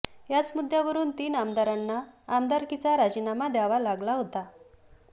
याच मुद्द्यावरुन तीन आमदारांना आमदारकीचा राजीनामा द्यावा लागला होता